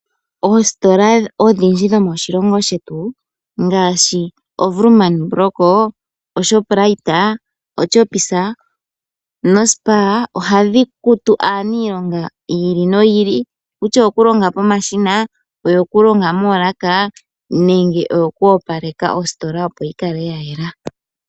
Oositola odhindji dhomoshilongo shetu ngaashi oWoerman brock, oShoprite, oChoppies noSpar, ohadhi kutu aaniilonga yi ili noyi ili nokutya oyo ku longa pomashina, oyo ku longa moolaka nenge oyo ku opaleka ositola, opo yi kale ya yela.